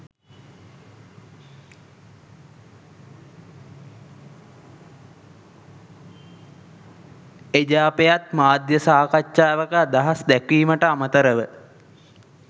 එජාපයත් මාධ්‍ය සාකච්ඡාවක අදහස් දැක්වීමට අමතරව